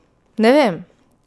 Ne vem!